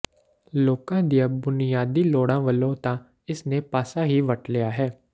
ਲੋਕਾਂ ਦੀਆਂ ਬੁਨਿਆਦੀ ਲੋੜਾਂ ਵੱਲੋਂ ਤਾਂ ਇਸ ਨੇ ਪਾਸਾ ਹੀ ਵੱਟ ਲਿਆ ਹੈ